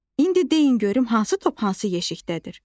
İndi deyin görüm hansı top hansı yeşikdədir?